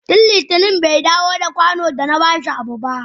Tun litinin bai dawo da kwano da na bashi abu ba.